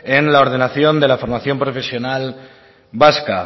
en la ordenación de la formación profesional vasca